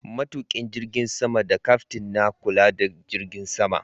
Matuƙin jirgin sama da Kyaftin na kula da jirgin sama.